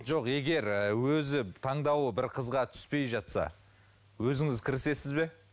жоқ егер ы өзі таңдауы бір қызға түспей жатса өзіңіз кірісесіз бе